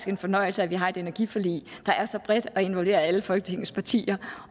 en fornøjelse at vi har et energiforlig der er så bredt og involverer alle folketingets partier